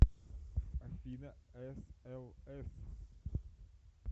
афина эс эл эс